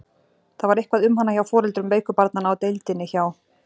Það var eitthvað um hana hjá foreldrum veiku barnanna á deildinni hjá